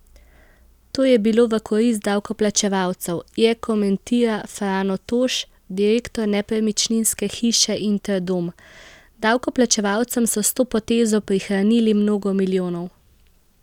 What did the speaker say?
To je bilo v korist davkoplačevalcev, je komentira Frano Toš, direktor nepremičninske hiše Interdom: 'Davkoplačevalcem so s to potezo prihranili mnogo milijonov.